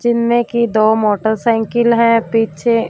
जिनमे की दो मोटरसाइकिल है पीछे--